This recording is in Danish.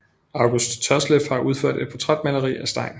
August Tørsleff har udført et portrætmaleri af Stein